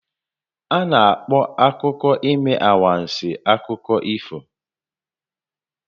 A na-akpọ akụkọ ime anwansi akụkọ ifo